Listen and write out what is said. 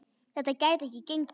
Þetta gæti ekki gengið.